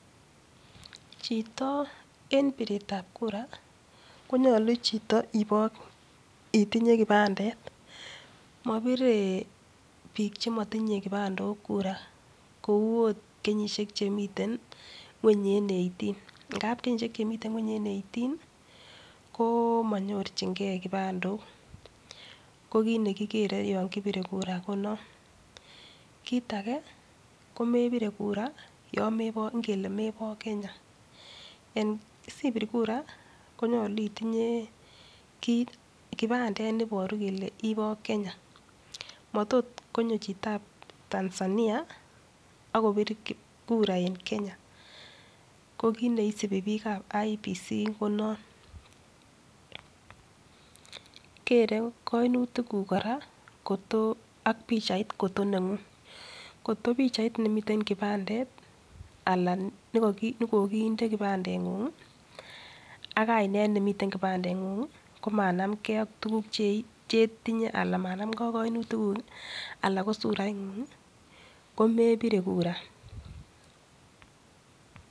Chito en biretab kura konyolu chito itinye kibandet mobire bik chemotinye kipandok kura kou ot kenyishek chemiten ngweny en eighteen ngap kenyishek chemi ngweny en eighteen komonyorjingee kipandok kokit nekikere yon kibire kura konon, kit ake komebire kura ingele mebo Kenya en sibir kura konyolu itinye kipandet neboru kole ibo Kenya motot konyo chitab Tanzania ak kobir kura en Kenya kokiit neisibi bikab IEBC konon kere koinutikuk koraa ak pichait kotonengung kot kopichait nemiten kipandet ala nekokinde kipandengung ak kainet nemiten kipandengung ii komanamngee ak tuguk chetinye alan manamngee ak koinutikuk ii ala kosuraingung ii komebire kura.